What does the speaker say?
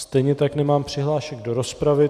Stejně tak nemám přihlášek do rozpravy.